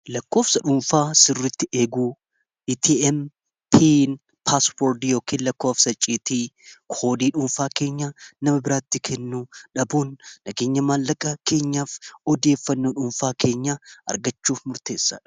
lakkoofsa dhuunfaa sirritti eeguu atm paaswoord yookiin lakkofsa icciitii koodii dhuunfaa keenya nama biraatti kennuu dhabuun naganya maallaqa keenyaaf odieeffannoo dhuunfaa keenya argachuu murteessa